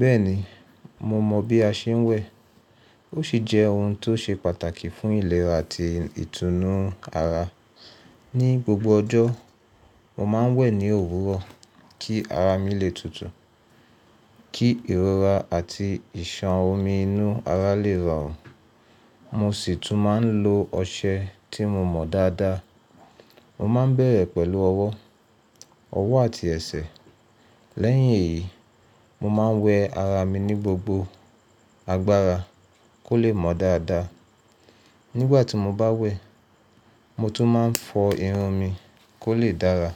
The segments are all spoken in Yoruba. Bẹ́ẹ̀ni, mo mọ̀ bí a ṣe ń wẹ̀. Ó sì jẹ́ ohun tó ṣe pàtàkì fún ìlera àti ìtùnú ara. Ni gbogbo ọjọ́, mo máa ń wẹ̀ ní òwúrọ̀ kí ara mi lè tutù, kí ìrora àti ìṣàn omi inú ara lè rọrùn. Mo sì tún máa ń lo ọṣẹ tí mo mọ dáadáa. Mo má ń bẹ̀rẹ̀ pẹ̀lú ọwọ́, ọwọ́ àti ẹsẹ̀. Lẹ́yìn èyí, mo máa ń wẹ ara mi ní gbogbo agbára kó lè mọ́ dáadáa. Nígbà tí mo bá wẹ̀, mo tún máa ń fọ irun mi kó lè dára.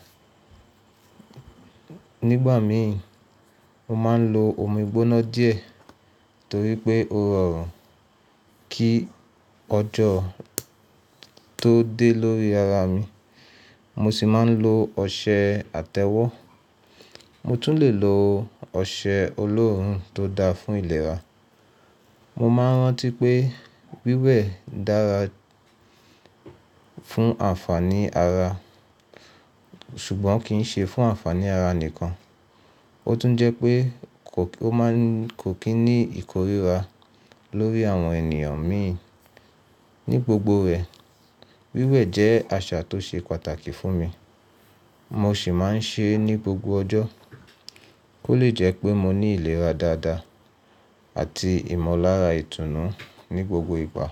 Nígbà mi, mo máa ń lo omi gbóná díẹ̀ torí pé ó rọrùn kí ọjọ́ tó dé lórí ara mi. Mo sì máa ń lo ọṣẹ àtẹ́wọ́. Mo tún lè lo ọṣẹ olóòórùn tó dáa fún ìlera. Mo máa ń rántí pé wíwẹ̀ dára fún àǹfààní ara ṣùgbọ́n kì í ṣe fún àǹfààní ara nìkan, ó tún jẹ́ pé ó máa ń kò kí ní ìkóríra lórí àwọn ènìyàn mi. Ni gbogbo rẹ̀, wíwẹ̀ jẹ́ àṣà tó ṣe pàtàkì fún mi. Mo sì máa ń ṣe é ní gbogbo ọjọ́ kó lè jẹ́ pé mo ní ìlera dáadáa àti ìmọ̀lára ìtùnú ní gbogbo ìgbà.